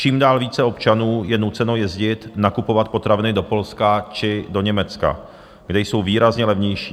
Čím dál více občanů je nuceno jezdit nakupovat potraviny do Polska či do Německa, kde jsou výrazně levnější.